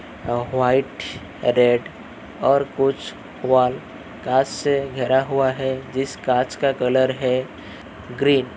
अ--व्हाइट red और कुछ wall का से घेरा हुआ है जिस काच का कलर है ग्रीन --